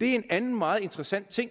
en anden meget interessant ting